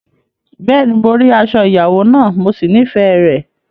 Bẹ́ẹ̀ni, mo rí aṣọ ìyàwó náà, mo sì nífẹ̀ẹ́ rẹ̀.